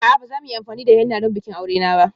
A'a, ba za mu yi amfani da henna don bikin aure na ba.